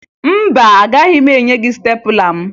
Mba, agaghị m enye gị stepụla m